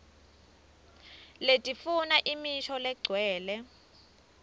letifuna imisho legcwele